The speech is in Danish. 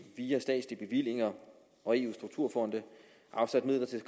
via statslige bevillinger og eu strukturfonde afsat midler til